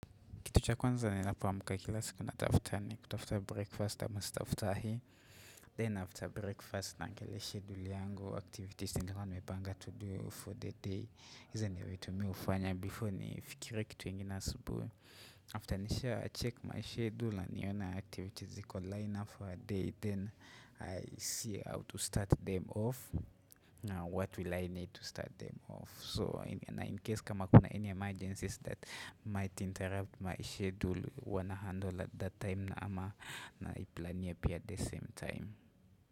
Kitu cha kwanza ninapoamka kila siku natafutani, ni kutafuta breakfast ama staftahi. Then after breakfast, naangalia schedule yangu, activities nilikuwa nimepanga to do for the day. Hizo ni vitu mimi hufanya, before ni fikirie kitu ingine asubuhi. After nishacheck my schedule na nione activities ziko lined up for a day. Then I see how to start them off. Now what will I need to start them off? So in case kama kuna any emergencies that might interrupt my schedule huwa nahandle at that time na ama naiplania pia at the same time.